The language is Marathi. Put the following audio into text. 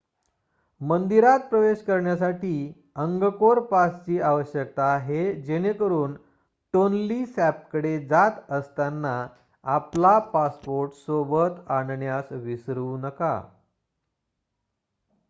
मंदिरात प्रवेश करण्यासाठी अंगकोर पासची आवश्यकता आहे जेणेकरून टोन्ली सॅपकडे जात असताना आपला पासपोर्ट सोबत आणण्यास विसरू नका